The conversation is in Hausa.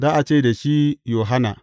Za a ce da shi Yohanna.